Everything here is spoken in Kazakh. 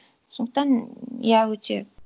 сондықтан иә өте